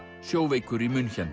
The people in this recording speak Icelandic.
sjóveikur í